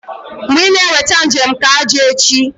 Mgbe ị na-eweta njem nke ájá echi?